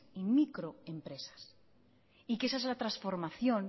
microempresas y que esa es la transformación